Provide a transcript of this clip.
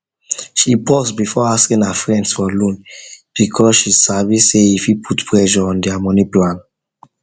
she pause before asking her friends for loan because she sabi say e fit put pressure on their money plan